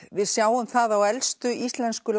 við sjáum það á elstu íslensku